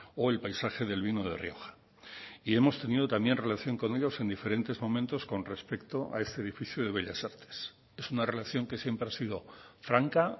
o el paisaje del vino de rioja y hemos tenido también relación con ellos en diferentes momentos con respecto a este edificio de bellas artes es una relación que siempre ha sido franca